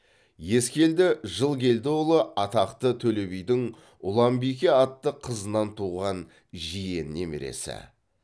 ескелді жылкелдіұлы атақты төле бидің ұланбике атты қызынан туған жиен немересі